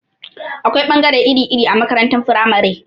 Akwai ɓangare iri-iri a makarantar firamare.